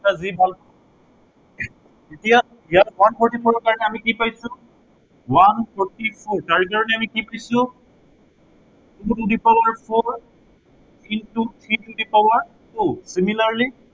যি ভাল দেখা। এতিয়া ইয়াত one forty four ৰ কাৰনে আমি কি পাইছো one forty four তাৰ কাৰনে আমি কি পাইছো two two the power four into three to the power two, similerly